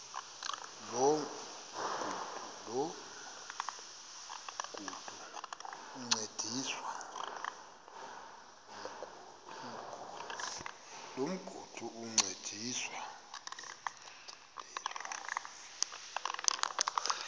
loo migudu encediswa